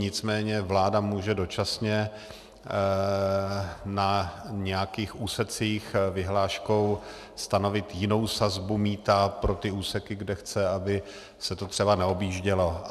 Nicméně vláda může dočasně na nějakých úsecích vyhláškou stanovit jinou sazbu mýta pro ty úseky, kde chce, aby se to celé neobjíždělo.